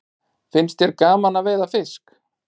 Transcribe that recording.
Finnst þér gaman að veiða fisk?